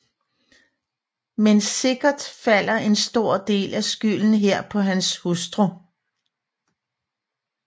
Men sikkert falder en stor del af skylden her på hans hustru